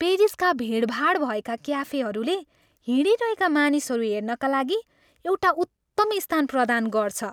पेरिसका भिडभाड भएका क्याफेहरूले हिँडिरहेका मानिसहरू हेर्नाका लागि एउटा उत्तम स्थान प्रदान गर्छ।